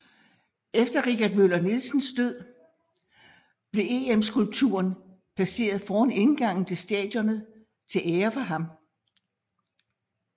Efter Richard Møller Nielsens død blev EM skulpturen placeret foran indgangen til stadionet til ære for ham